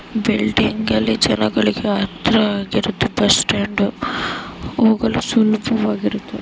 Building ಅಲ್ಲಿ ಜನಗಳಿಗೆ ಹತರ ಆಗಿರ ಬಸ್ ಸ್ಟಾಂಡ್ ಹೋಗಲು ಸುಲಭವಾಗಿರುತ್ತದೆ.